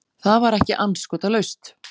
Það var ekki andskotalaust.